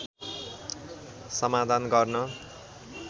समाधान गर्न